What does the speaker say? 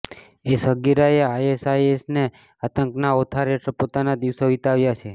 એ સગીરાએ આઈએસઆઈએસના આતંકના ઓથાર હેઠળ પોતાના દિવસો વિતાવ્યા છે